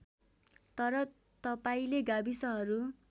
तर तपाईँले गाविसहरू